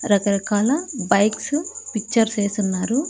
రకరకాల bikes pictures ఏసున్నారు.